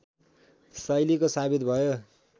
शैलीको साबित भयो